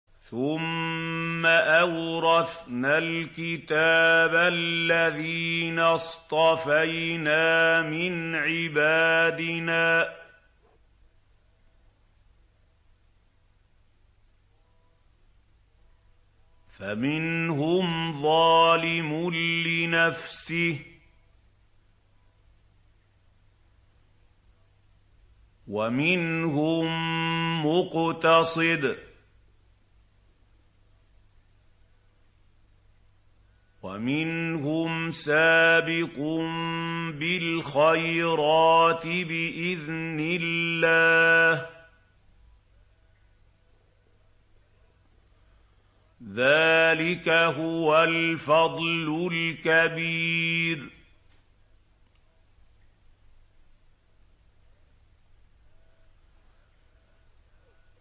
ثُمَّ أَوْرَثْنَا الْكِتَابَ الَّذِينَ اصْطَفَيْنَا مِنْ عِبَادِنَا ۖ فَمِنْهُمْ ظَالِمٌ لِّنَفْسِهِ وَمِنْهُم مُّقْتَصِدٌ وَمِنْهُمْ سَابِقٌ بِالْخَيْرَاتِ بِإِذْنِ اللَّهِ ۚ ذَٰلِكَ هُوَ الْفَضْلُ الْكَبِيرُ